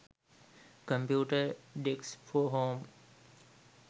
computer desks for home